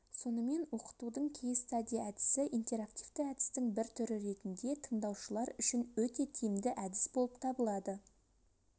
сонымен оқытудың кейстади әдісі интерактивті әдістің бір түрі ретінде тыңдаушылар үшін өте тиімді әдіс болып табылады